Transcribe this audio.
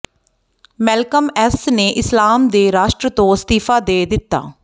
Malcolm X ਨੇ ਇਸਲਾਮ ਦੇ ਰਾਸ਼ਟਰ ਤੋਂ ਅਸਤੀਫ਼ਾ ਦੇ ਦਿੱਤਾ